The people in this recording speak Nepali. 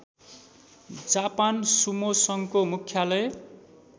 जापान सुमो सङ्घको मुख्यालय